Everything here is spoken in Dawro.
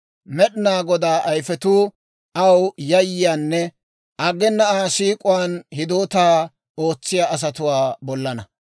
Med'inaa Godaa ayifetuu aw yayyiyaanne aggena Aa siik'uwaan hidootaa ootsiyaa asatuwaa bollaanna.